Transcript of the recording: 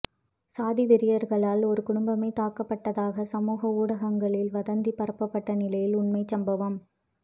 சாதி வெறியர்களால் ஒரு குடும்பமே தாக்கப்பட்டதாக சமூக ஊடங்களில் வதந்தி பரப்பப்பட்ட நிலையில் உண்மை சம்பவம்